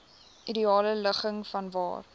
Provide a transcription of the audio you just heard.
ideale ligging vanwaar